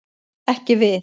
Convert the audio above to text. Ekki við.